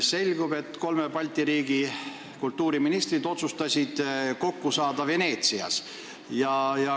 Selgus, et kolme Balti riigi kultuuriministrid otsustasid kokku saada Veneetsias.